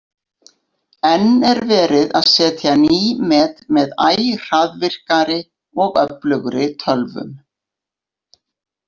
Enn er verið að setja ný met með æ hraðvirkari og öflugri tölvum.